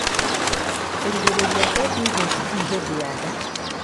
kũgirĩrĩria ADHD hĩndĩ ya nda